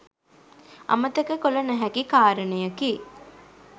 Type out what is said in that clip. අමතක කළ නොහැකි කාරණයකි.